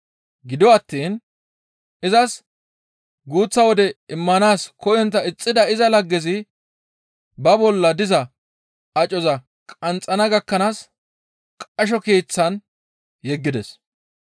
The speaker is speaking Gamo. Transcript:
«Gido attiin izas guuththa wode immanaas koyontta ixxidi iza laggezi ba bolla diza acoza qanxxana gakkanaas qasho keeththan yeggides.